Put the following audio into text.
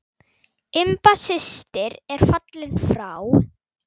Imba systir er fallin frá.